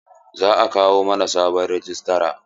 Za a kawo mana sabon rajistra.